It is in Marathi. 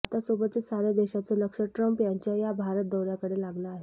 भारतासोबतच साऱ्य़ा देशाचं लक्ष ट्रम्प यांच्या या भारत दौऱ्याकडे लागलं आहे